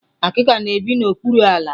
akịka na-ebi n'okpuru ala.